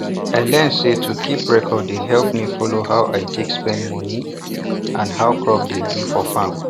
i learn say to keep record dey help me follow how i take spend money and how crop dey do for farm